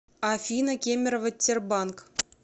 афина кемерово тербанк